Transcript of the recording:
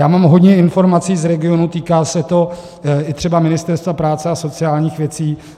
Já mám hodně informací z regionů, týká se to i třeba Ministerstva práce a sociálních věcí.